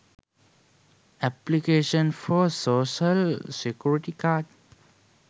application for social security card